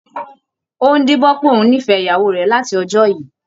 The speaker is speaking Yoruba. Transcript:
Ó ń díbọ́n pé òun nífẹ̀ẹ́ ìyàwó rẹ̀ láti ọjọ́ yìí